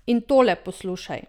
In tole poslušaj.